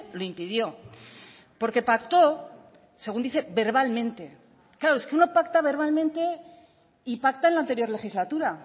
lo impidió porque pacto según dice verbalmente claro es que uno pacta verbalmente y pacta en la anterior legislatura